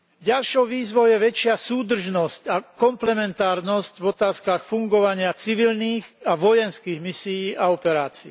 Ďalšou výzvou je väčšia súdržnosť a komplementárnosť v otázkach fungovania civilných a vojenských misií a operácií.